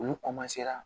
Olu